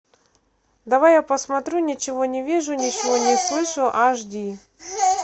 давай я посмотрю ничего не вижу ничего не слышу аш ди